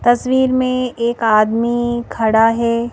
तस्वीर में एक आदमी खड़ा है।